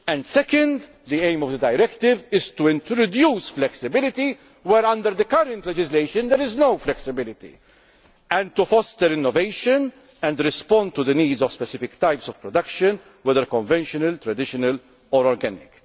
Second, the aim of the directive is to introduce flexibility, where under the current legislation there is no flexibility, and to foster innovation and respond to the needs of specific types of production, whether conventional, traditional or organic.